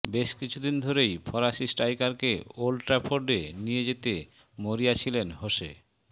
বেশ কিছুদিন ধরেই ফরাসি স্ট্রাইকারকে ওল্ড ট্র্যাফোর্ডে নিয়ে যেতে মরিয়া ছিলেন হোসে